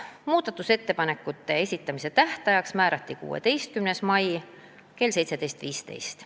Muudatusettepanekute esitamise tähtajaks määrati 16. mai kell 17.15.